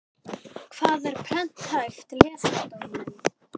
Hvað er prenthæft lesmál Dóri minn?